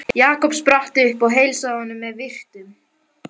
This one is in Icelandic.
Jakob spratt upp og heilsaði honum með virktum.